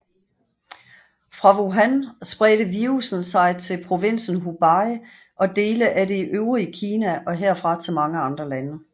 Fra Wuhan spredte virussen sig til provinsen Hubei og dele af det øvrige Kina og herfra til mange andre lande